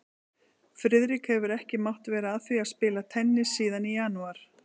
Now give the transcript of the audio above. Friðrik hefur ekki mátt vera að því að spila tennis síðan í janúar